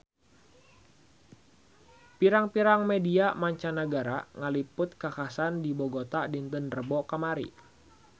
Pirang-pirang media mancanagara ngaliput kakhasan di Bogota dinten Rebo kamari